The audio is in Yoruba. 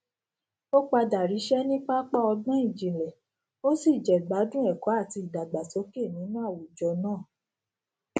ó padà ríṣẹ ní pápá ọgbọn ìjìnlẹ ó sì jẹgbádùn ẹkọ àti ìdàgbàsókè nínú àwùjọ náà